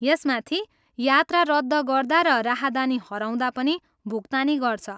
यसमाथि, यात्रा रद्द गर्दा र राहदानी हराउँदा पनि भुक्तानी गर्छ।